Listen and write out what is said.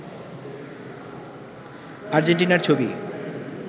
আর্জেন্টিনার ছবি